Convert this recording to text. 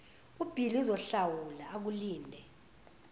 ubhili uzohlawula akulinde